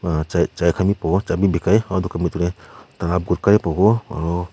aro chair chai khan bi pawo cha bi bikhai gutka bi pawo.